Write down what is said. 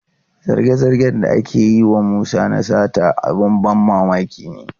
Zarge-zargen da ake yi wa Musa na sata abin ban mamaki ne.